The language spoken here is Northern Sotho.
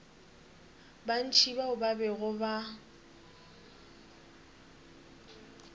bantši bao ba bego ba